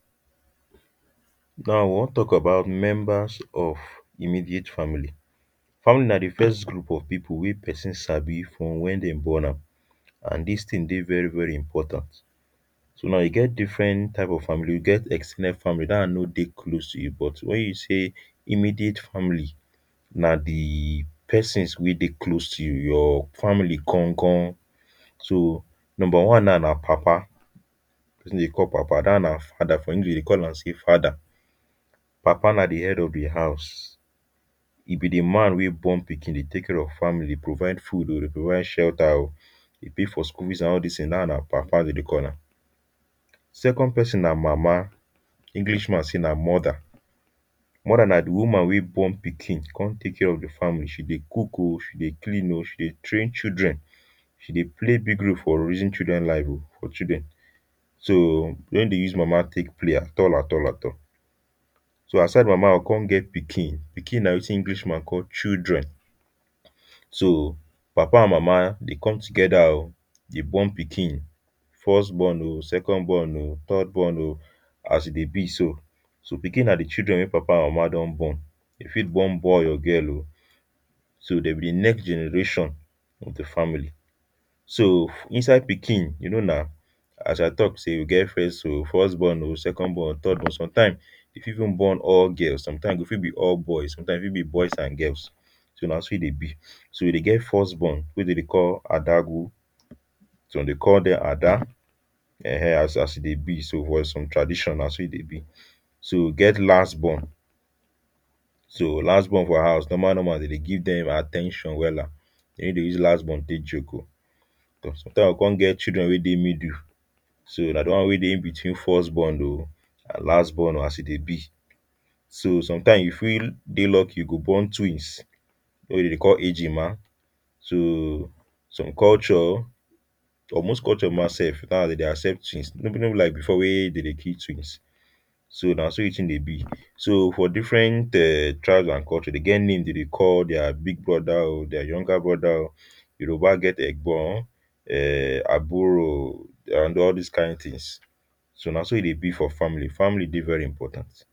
now we want talk about members of immediate family family nah the first group of people weh person sabi from when them born am and this thing deh very very important so now e get different type of family e get ex ten ded family that one no deh close to you but when you say immediate family nah the persons weh deh close to you your family gan gan so number one now nah papa person weh them deh call papa that one nah father for english them deh call am say father papa nah the head of the house e be the man weh born pikin deh take care of family deh provide food um deh provide shelter deh pay for school fees and all these tins dat one nah papa them deh call am second person nah mama english man say nah mother mother nah the woman weh born pikin come take care of the fa mily she deh cook um she deh clean um she deh train children she deh play big role for raising children life um for children so them no deh use mama take play at all at all at all so aside from mama we come get pikin pikin nah wetin english man call children so papa and mama they come together um they born pikin first born um second born um third born um as e deh be so so pikin nah the children weh papa and mama don born them fit born boy or girl um so them be next generation of de family so inside pikin you know nah as i talk say we get first um first born um second born third born sometimes hin fit even born all girls sometimes e for be all boys sometimes e fit be boys and girls so nah so e deh be so e deh first born weh them deh call adagu some dem deh call them ada um as e deh be so for some tradition nah so e deh be so e get last born so last born for house normal normal them deh give them at ten tion wella them no use last born take joke o sometime go come get children weh middle so nah de one weh deh inbetween first born o and last born o as e deh be so sometimes you fit deh lucky you go born twins weh them deh call egima to some culture or most culture ma sef now them deh accept twins no be no be like before weh them deh kill twins so nah so the thing deh be so for different um tribes an culture them get name them deh call their big brother um their younger brother um Yoruba get egbon um aburo an all this kind things so nah so e deh be for family family deh very important.